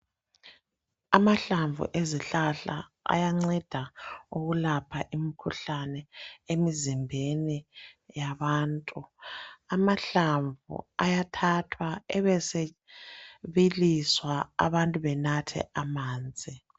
Amahlamvu ezihlahla ayanceda ukulapha imikhuhlane emizimbeni yabantu. Amahlamvu ayathathwa, ebesebiliswa, abantu benathe amanzi.